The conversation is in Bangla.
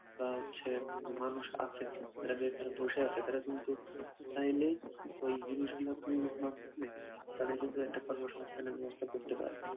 বা হচ্ছে মানুষ আছে যারা বেকার বসে আছে তারা কিন্তু চাইলেই ওই জিনিসগুলা তৈরির মাধ্যমে তাদের কিন্তু একটা কর্মসংস্থানের ব্যবস্থা করতে পারে